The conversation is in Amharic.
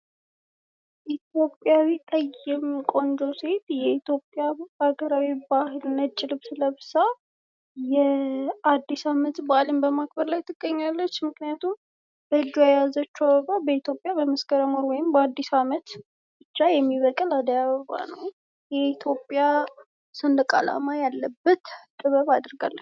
ኢትዮጵያዊ ጠይም ቆንጆ ሴት የኢትዮጵያ ሀገራዊ ነጭ ባህላዊ ልብስ ለብሳ ፤ አድስ አመት በአልን በማክበር ላይ ትገኛለች ምክንያቱም በእጁዋ የያዘችው አበባ በኢትዮጵያ በመስከረም ወር ወይም በአዲስ አመት ብቻ የሚበቅል አደይ አበባ ነው። የኢትዮጵያ ሰንደቅ አላማ ያለበት ጥበብ አድርጋለች።